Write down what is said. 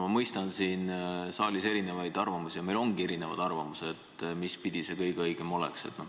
Ma mõistan, siin saalis on erinevad arvamused ja meil ongi erinevad arvamused, mispidi kõige õigem oleks.